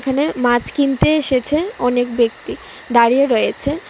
এখানে মাছ কিনতে এসেছে অনেক ব্যক্তি দাঁড়িয়ে রয়েছে.